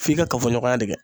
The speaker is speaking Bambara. F'i ka kafoɲɔgɔnya de kɛ